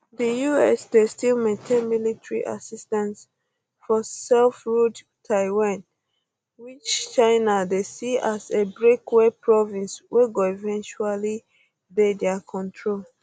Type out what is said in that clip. di us dey still maintain military assistance for selfruled taiwan which china dey see as a breakaway province wey go eventually dey dia control